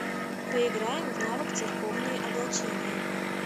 поиграем в навык церковные облачения